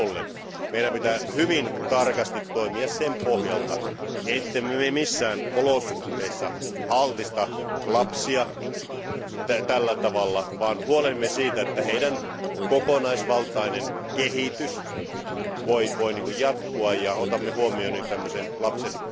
Näin ollen meidän pitää hyvin tarkasti toimia sen pohjalta, ettemme me missään olosuhteissa altista lapsia tällä tavalla, vaan huolehdimme siitä, että heidän kokonaisvaltainen kehityksensä voi jatkua ja otamme huomioon lapsen